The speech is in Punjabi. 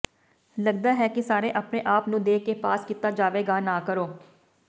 ਲੱਗਦਾ ਹੈ ਕਿ ਸਾਰੇ ਆਪਣੇ ਆਪ ਨੂੰ ਦੇ ਕੇ ਪਾਸ ਕੀਤਾ ਜਾਵੇਗਾ ਨਾ ਕਰੋ